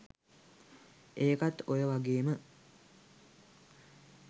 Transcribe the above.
ඒකත් ඔය වගේම